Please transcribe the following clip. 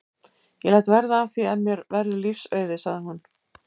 Ég læt verða af því ef mér verður lífs auðið sagði hún.